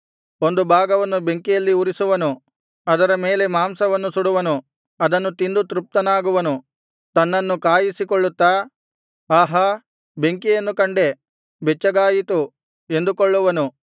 ಒಂದು ಭಾಗವನ್ನು ಬೆಂಕಿಯಲ್ಲಿ ಉರಿಸುವನು ಅದರ ಮೇಲೆ ಮಾಂಸವನ್ನು ಸುಡುವನು ಅದನ್ನು ತಿಂದು ತೃಪ್ತನಾಗುವನು ತನ್ನನ್ನು ಕಾಯಿಸಿಕೊಳ್ಳುತ್ತಾ ಆಹಾ ಬೆಂಕಿಯನ್ನು ಕಂಡೆ ಬೆಚ್ಚಗಾಯಿತು ಎಂದುಕೊಳ್ಳುವನು